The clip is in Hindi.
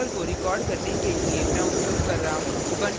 इस tutorial को record करने के लिए मैं उपयोग कर रहा हूँ